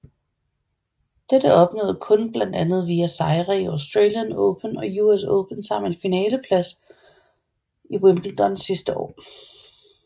Dette opnåede hun blandet andet via sejre i Australian Open og US Open samt en finaleplads i Wimbledon dette år